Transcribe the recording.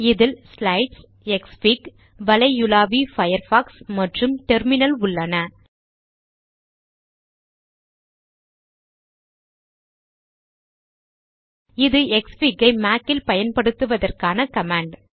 இதில் slides Xfig வலையுலாவி Firefox மற்றும் டெர்மினல் உள்ளன இது க்ஸ்ஃபிக் ஐ மாக் ல் பயன்படுத்துவதற்கான கமாண்ட்